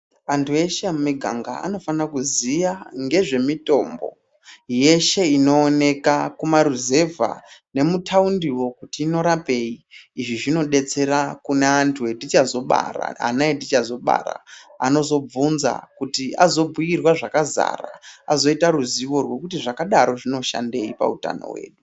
Antu eshe emiganga anofana kuziya ngezvemitombo, yeshe inooneka kumaruzevha nemuthaundiwo kuti inorapei. Izvi zvinodetsera kune antu etichazobara. Ana etichazobara, anozobvunza kuti azobhuirwa zvakazara, azoita ruzivo rwekuti zvakadaro zvinoshandei pautano hwedu.